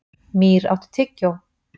Mýr, áttu tyggjó?